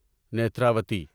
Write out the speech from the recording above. Netravati